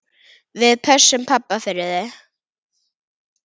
Við pössum pabba fyrir þig.